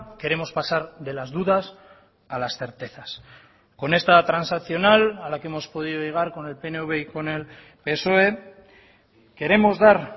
queremos pasar de las dudas a las certezas con esta transaccional a la que hemos podido llegar con el pnv y con el psoe queremos dar